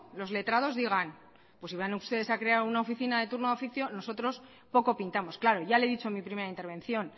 los letrados digan pues si van ustedes a crear una oficina de turno de oficio nosotros poco pintamos claro ya lo he dicho en mi primera intervención